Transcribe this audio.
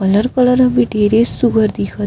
colour colour के सुघ्घर दिखत --